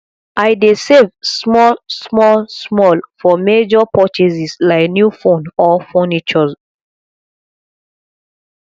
i dey save small small small for major purchases like new phone or furniture